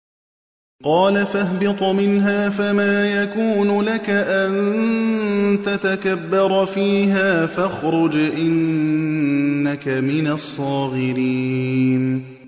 قَالَ فَاهْبِطْ مِنْهَا فَمَا يَكُونُ لَكَ أَن تَتَكَبَّرَ فِيهَا فَاخْرُجْ إِنَّكَ مِنَ الصَّاغِرِينَ